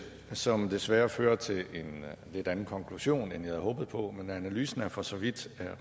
som desværre fører til en lidt anden konklusion end jeg havde håbet på men analysen er for så vidt